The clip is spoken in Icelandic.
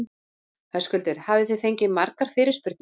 Höskuldur: Hafið þið fengið margar fyrirspurnir?